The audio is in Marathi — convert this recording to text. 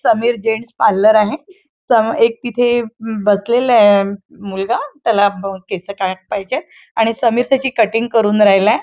समीर जेंट्स पार्लर आहे त एक तिथे म बसलेलाय अ मुलगा त्याला ब केस कापायचेएत आणि समीर त्याची कटिंग करून राहिलाय.